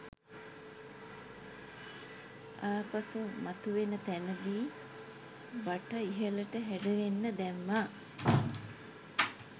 ආපසු මතුවෙන තැනදී බට ඉහළට හැඩවෙන්න දැම්මා.